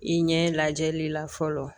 I ɲɛ lajɛli la fɔlɔ